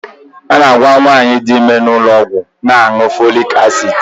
A na-agwa nwaanyị di ime n'ụlọọgwụ na-aṅụ folik asid.